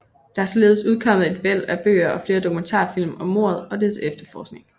Der er således udkommet et væld af bøger og flere dokumentarfilm om mordet og dets efterforskning